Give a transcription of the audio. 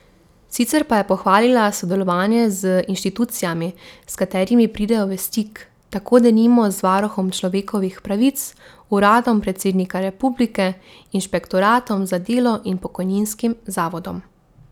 Sicer pa je pohvalila sodelovanje z inštitucijami, s katerimi pridejo v stik, tako denimo z varuhom človekovih pravic, uradom predsednika republike, inšpektoratom za delo in pokojninskim zavodom.